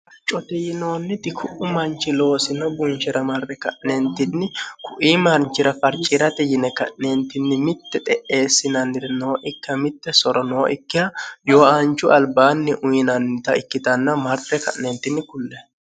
coti yinoonniti ku'u manchi loosino bunchira marre ka'neentinni kuii marnchira farciirate yine ka'neentinni mitte xe'eessinanniri noo ikka mitte soro noo ikka yooaanchu albaanni uyinannita ikkitanna marre ka'neentinni kulle